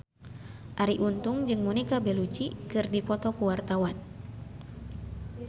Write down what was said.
Arie Untung jeung Monica Belluci keur dipoto ku wartawan